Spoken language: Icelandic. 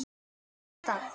Og frá hvaða stað?